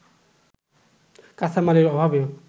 কাঁচামালের অভাবে